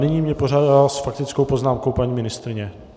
Nyní mě požádala s faktickou poznámkou paní ministryně.